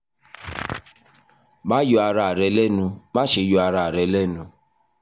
ma yọ ara rẹ lẹnu maṣe yọ ara rẹ lẹnu